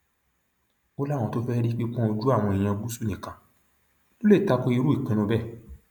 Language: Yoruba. ó láwọn tó fẹẹ rí pípọn ojú àwọn èèyàn gúúsù nìkan ló lè ta ko irú ìpinnu bẹẹ